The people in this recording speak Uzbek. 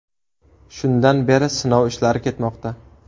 Shundan beri sinov ishlari ketmoqda.